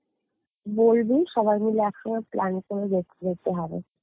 বলবি সবাই মিলে একসঙ্গে plan করে যে~ যেতে হবে